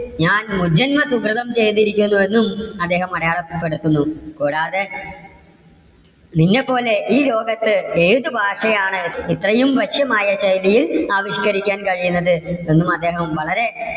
ഞാൻ മുജന്മ സുകൃതം ചെയ്തിരിക്കുന്നു എന്നും അദ്ദേഹം അടയാളപ്പെടുത്തുന്നു. കൂടാതെ നിന്നെ പോലെ ഈ ലോകത്ത് ഏതു ഭാഷയാണ് ഇത്രയും വശ്യമായ ശൈലിയിൽ ആവിഷ്കരിക്കാൻ കഴിയുന്നത്? എന്നും അദ്ദേഹം വളരെ